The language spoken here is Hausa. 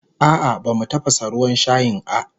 A'a bamu tafasa ruwan shayin a